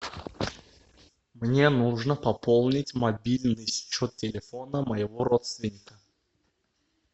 мне нужно пополнить мобильный счет телефона моего родственника